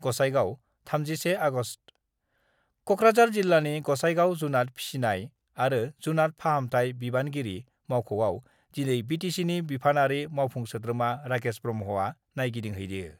Gossaigaon, 31 August: Kokrajhar जिल्लानि गसाइगाव जुनात फिसिनाय आरो जुनात फाहामथाय बिबानगिरि मावख'याव दिनै बिटिसिनि बिफानारि मावफुं सोद्रोमा राकेश ब्रह्मआ नायगिदिंहैयो।